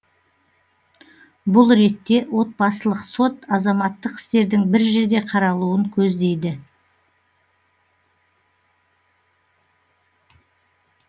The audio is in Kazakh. бұл ретте отбасылық сот азаматтық істердің бір жерде қаралуын көздейді